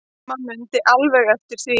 Amma mundi alveg eftir því.